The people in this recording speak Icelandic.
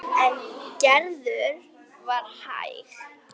En Gerður var hæg.